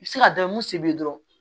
I bɛ se ka dɔ mun se bi dɔrɔn